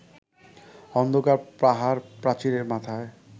অন্ধকার পাহাড়-প্রাচীরের মাথায়